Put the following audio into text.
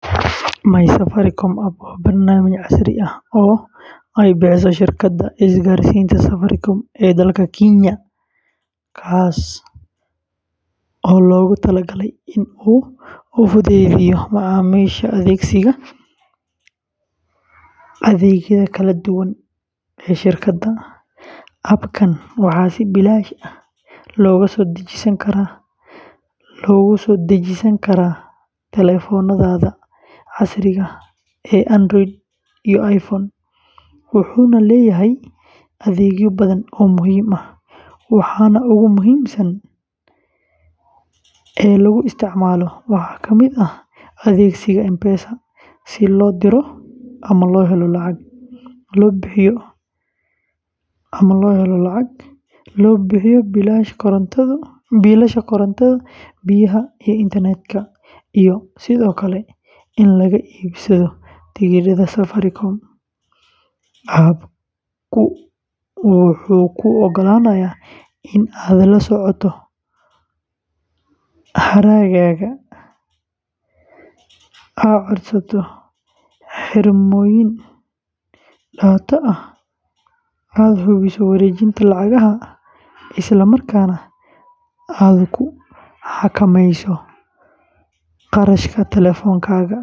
MySafaricom App waa barnaamij casri ah oo ay bixiso shirkadda isgaarsiinta Safaricom ee dalka Kenya, kaas oo loogu talagalay in uu u fududeeyo macaamiisha adeegsiga adeegyada kala duwan ee shirkadda. App-kan waxaa si bilaash ah looga soo dejisan karaa taleefannada casriga ah ee Android iyo iPhone, wuxuuna leeyahay adeegyo badan oo muhiim ah. Waxa ugu muhiimsan ee lagu isticmaalo waxaa ka mid ah adeegsiga M-Pesa si loo diro ama loo helo lacag, loo bixiyo biilasha korontada, biyaha, iyo internet-ka, iyo sidoo kale in laga iibsado tikidhada safarka. App-ku wuxuu kuu oggolaanayaa in aad la socoto hadhaagaaga, aad codsato xirmooyin data ah, aad hubiso wareejinta lacagaha, isla markaana aad ku xakamayso kharashka taleefankaaga.